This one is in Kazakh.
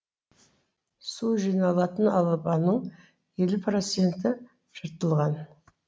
су жиналатын алабаның елу проценті жыртылған